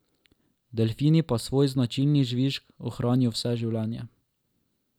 Delfini pa svoj značilni žvižg ohranijo vse življenje.